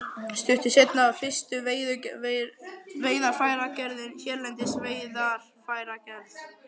Stuttu seinna var fyrsta veiðarfæragerðin hérlendis, Veiðarfæragerð